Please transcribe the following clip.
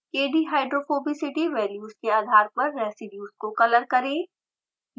kdhydrophobicity values के आधार पर रेसीड्यूज़ को कलर करें